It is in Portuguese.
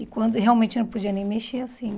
E quando e realmente não podia nem mexer assim.